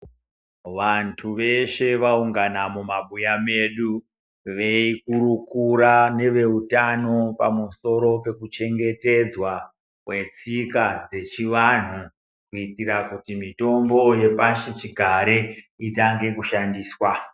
Vantu veshe vaungana mumabuya medu veikurukura neveutano pamusoro pekuchengetedzwa kwetsika dzechivanhu kuitira kuti mitombo yepasichigare itange kushandiswa.